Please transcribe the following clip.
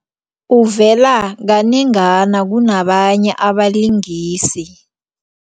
Uvela kanengana kunabanye abalingisi.